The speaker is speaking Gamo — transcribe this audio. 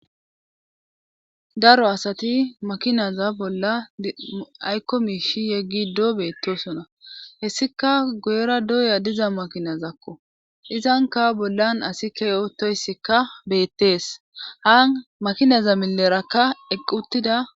daro asati makinaza bolla aykko miishi yeggi do beettosona hessika goyera doya diza makinazakko izanka bollan asi ke otoyssikka beettees haan makinaza milerakka eqquttida